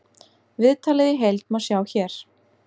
Viðtalið í heild má sjá hér